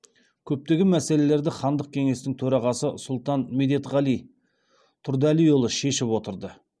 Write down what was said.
көптеген мәселелерді хандық кеңестің төрағасы сұлтан медетғали тұрдәлиұлы шешіп отырды